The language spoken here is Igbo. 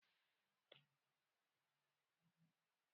Mba, nke ahụ abụghị ọltaneto